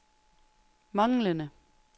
manglende